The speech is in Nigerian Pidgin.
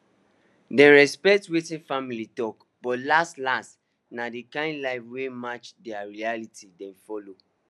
dem respect wetin family talk but last last na the kind life wey match their reality dem follow